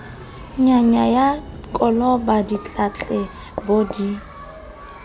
nyaya la koloba ditletlebo di